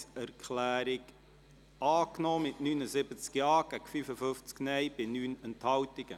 Sie haben diese Planungserklärung angenommen, mit 79 Ja- gegen 55 Nein-Stimmen bei 9 Enthaltungen.